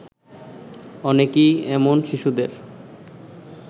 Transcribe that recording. অনেকেই এমন শিশুদের